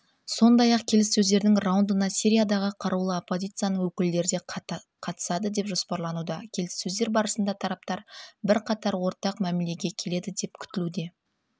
сондай-ақ келіссөздердің раундына сириядағы қарулы оппозицияның өкілдері де қатысады деп жоспарлануда келіссөздер барысында тараптар бірқатар ортақ мәмілеге келеді деп күтілуде